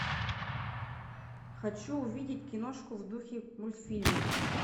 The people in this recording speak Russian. хочу увидеть киношку в духе мультфильма